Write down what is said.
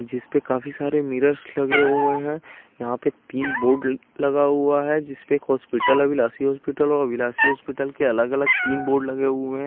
जिस पे काफी सारे मिरर्स लगे हुए हैं यहां पे तीन बोर्ड लगा हुआ है जिस पे एक हॉस्पिटल अभिलाषी हॉस्पिटल और बिलासी हॉस्पिटल के अलग अलग तीन बोर्ड लगे हुए हैं।